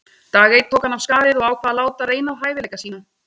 Dag einn tók hann af skarið og ákvað að láta reyna á hæfileika sína.